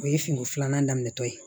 O ye fini filanan daminɛ tɔ ye